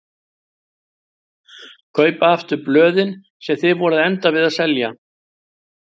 Kaupa aftur blöðin sem þið voruð að enda við að selja!